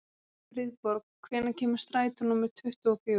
Friðborg, hvenær kemur strætó númer tuttugu og fjögur?